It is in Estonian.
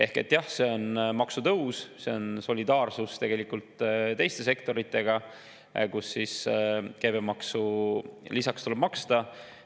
Ehk jah, see on maksutõus, aga see on tegelikult solidaarsus teiste sektoritega, kus käibemaksu lisaks tuleb maksta.